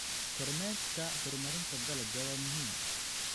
Kormeerka horumarinta dalagga waa muhiim.